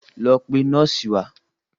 Lọ pe nọ́ọ̀sì wá!